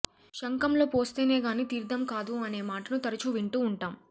శంఖంలో పోస్తేనేగాని తీర్థం కాదు అనే మాటను తరచూ వింటూ ఉంటాం